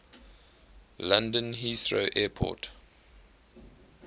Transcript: london heathrow airport